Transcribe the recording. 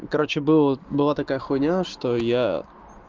короче было была такая хуйня что я